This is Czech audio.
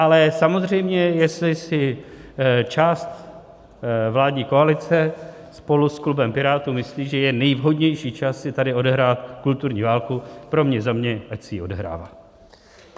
Ale samozřejmě jestli si část vládní koalice spolu s klubem Pirátů myslí, že je nejvhodnější čas si tady odehrát kulturní válku, pro mě za mě ať si ji odehrává.